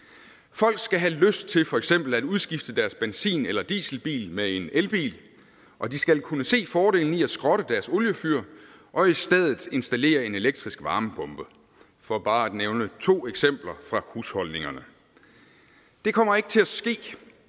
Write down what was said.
folk skal have lyst til for eksempel udskifte deres benzin eller dieselbil med en elbil og de skal kunne se fordelen i at skrotte deres oliefyr og i stedet installere en elektrisk varmepumpe for bare at nævne to eksempler fra husholdningerne det kommer ikke til at ske